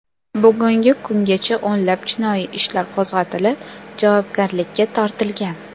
Bugungi kungacha o‘nlab jinoiy ishlar qo‘zg‘atilib, javobgarlikka tortilgan.